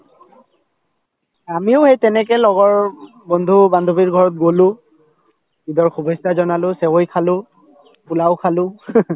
আমিও সেই তেনেকে লগৰ বন্ধু-বান্ধৱীৰ ঘৰত গলো ঈদৰ শুভেছা জনালো চেৱাই খালো পোলাও খালো